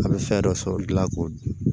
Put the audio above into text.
A bɛ fɛn dɔ sɔrɔ dilan k'o dun